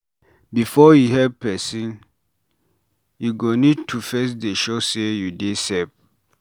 Before you help persin, you go need to first dey sure sey you dey safe